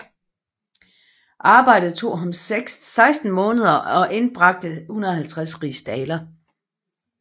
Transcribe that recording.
Arbejdet tog ham 16 måneder og indbragte 150 rigsdaler